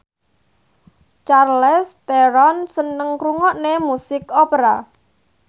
Charlize Theron seneng ngrungokne musik opera